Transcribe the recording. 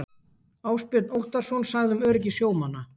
Ásbjörn Óttarsson sagði um öryggi sjómanna.